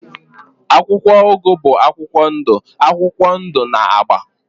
akwụkwọ ugu bụ akwụkwọ ndụ akwụkwọ ndụ na agba.